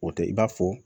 O tɛ i b'a fɔ